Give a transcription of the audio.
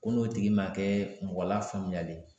Ko n'o tigi ma kɛ mɔgɔ lafaamuyalen ye